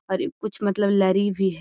और इ कुछ मतलब लड़ी भी है।